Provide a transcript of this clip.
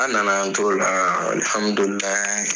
A nana an toro' la alhamdulilai